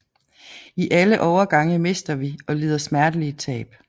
I alle overgange mister vi og lider smertelige tab